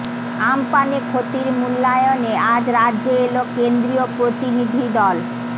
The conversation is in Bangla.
আমপানে ক্ষতির মূল্যায়নে আজ রাজ্যে এল কেন্দ্রীয় প্রতিনিধি দল